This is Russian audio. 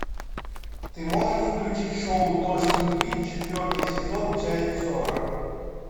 ты можешь включить шоу дождь любви четвертый сезон часть сорок